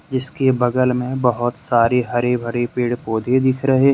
जिसके बगल में बहुत सारी हरी भरी पेड़ पौधे दिख रहे।